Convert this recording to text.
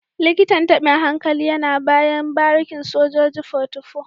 Likitan tabin hankali yana bayan barikin sojoji 44